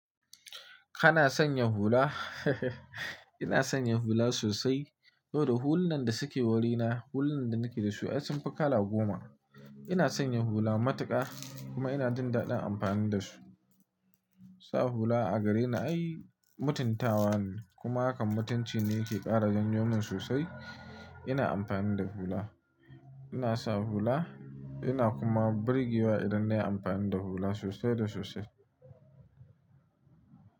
Kana sanya hula? Ina sanya hula sosai. Saboda hulunan da suke wurina, hulan da nake da su ai sun fi kala goma. Ina sanya hula matuƙa kuma ina jin daɗin amfani da su. Sa hula a gareni ai mutuntawa ne kuma hakan mutunci ne yake ƙara jan yomin sosai. Ina amfani da hula. Ina sa hula ina kuma birgewa idan na yi amfani da hula sosai da sosai.